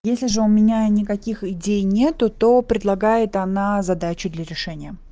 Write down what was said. если же у меня никаких идей нету то предлагает она задачу для решения